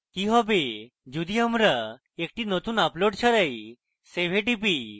কি save যদি আমরা একটি নতুন আপলোড ছাড়াই save a টিপি